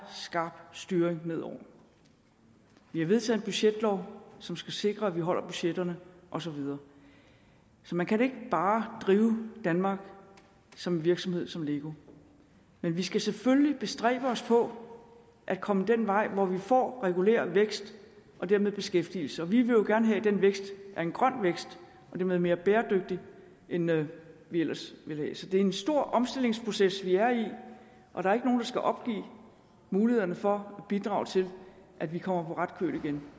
stram styring ned over vi har vedtaget en budgetlov som skal sikre at vi holder budgetterne og så videre man kan ikke bare drive danmark som en virksomhed som lego men vi skal selvfølgelig bestræbe os på at komme den vej hvor vi får reguleret vækst og dermed beskæftigelse vi vil jo gerne have at den vækst er en grøn vækst og dermed mere bæredygtig end den ellers ville være så det er en stor omstillingsproces vi er i og der er ikke nogen der skal opgive mulighederne for at bidrage til at vi kommer på ret køl igen